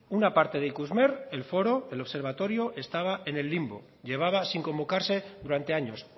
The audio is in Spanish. una parte de ikusmer el foro el observatorio estaba en el limbo llevaba sin convocarse durante años